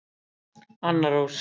Anna Rós.